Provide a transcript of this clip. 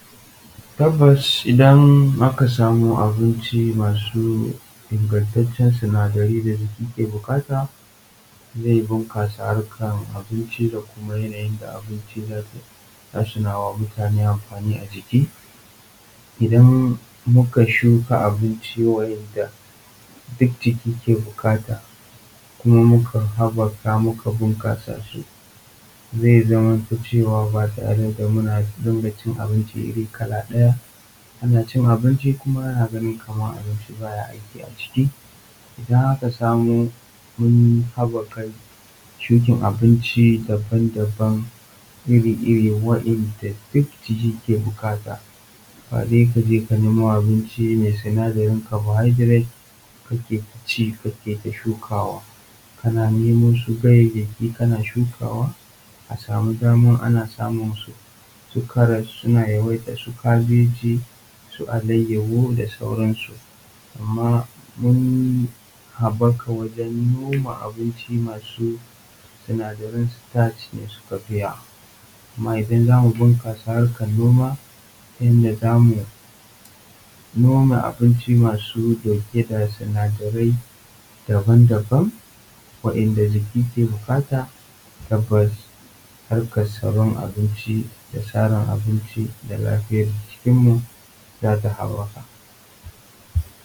Tabbas idan aka samu abinci masu inagantattun sinadarai da jiki ke bukata zai bunkasa amfanin abinci da abinci zai wa mutane a jiki idan muka shuka abincinda jiki ke bukata kuma muka habaka muka inganta sub a zai zamo cewa ana cin abinci ba kuma ana ganin kaman baya aiki a jiki kana. Idan aka nemo su ganyayyaki ana shukawa amma mun habaka wajen noma abinci masu sinadaran starch kuma idan zamu dinga noma abinci masu dauke da sinadarai daban daban wanda jiki ke bukata tabbas tsarin abinci da lafiyar jikinmu za ta habaka wajen noma abinci masu sinadaran sitaci suka yawa. Amma idan za mu noma abinci wanda sinadaran abinci masu yaw ake bukata.